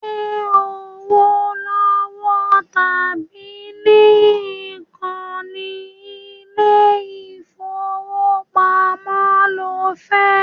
Ṣẹ́ owó lọ́wọ́ tàbí ní ìkànnì ilé ìfowópamọ́ lo fẹ́?